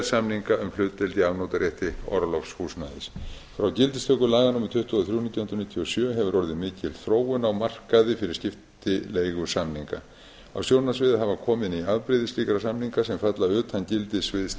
samninga um hlutdeild í afnotarétti orlofshúsnæðis frá gildistöku laga númer tuttugu og þrjú nítján hundruð níutíu og sjö hefur orðið mikil þróun á markaði fyrir skiptileigusamninga á sjónarsviðið hafa komið ný afbrigði slíkra samninga sem falla utan gildissviðs